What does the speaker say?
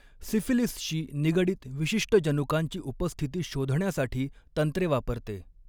, सिफिलीसशी निगडीत विशिष्ट जनुकांची उपस्थिती शोधण्यासाठी तंत्रे वापरते.